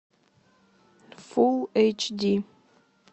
фул эйч ди